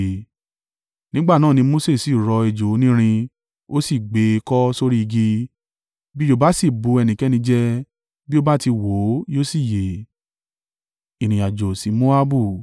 Nígbà náà ni Mose sì rọ ejò onírin ó sì gbé e kọ́ sórí igi, bí ejò bá sì bu ẹnikẹ́ni jẹ bí ó bá ti wò ó yóò sì yè.